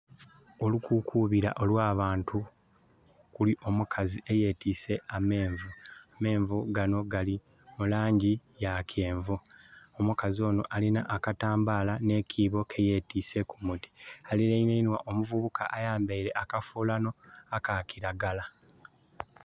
Olukukuubira olw'abantu, okuli omukazi eyetiise amenvu. Amenvu gano gali mu laangi ya kyenvu. Omukazi onho alina akatambaala nh'ekyibo kye yetiise ku mutwe. Alilanirwa omuvubuka ayambaile akafuulanho aka kiragala.